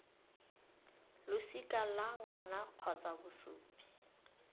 losika la ngwana gongwe bosupi